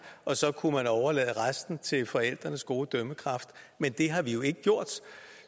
og så kunne man overlade resten til forældrenes gode dømmekraft men det har vi jo ikke gjort